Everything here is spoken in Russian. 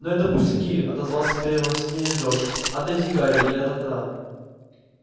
ну это пустяки отозвался с переднего сиденья джордж отойди гарри и от окна